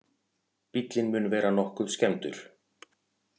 Bíllinn mun vera nokkuð skemmdur